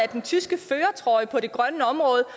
den tyske førertrøje på det grønne område og